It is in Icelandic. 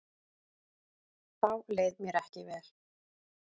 Þá leið mér ekki vel.